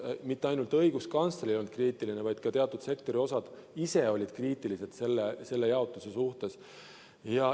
Mitte ainult õiguskantsler ei olnud kriitiline, vaid ka teatud sektori osad ise olid kriitilised selle jaotuse suhtes.